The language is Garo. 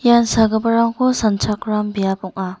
ian sagiparangko sanchakram biap ong·a.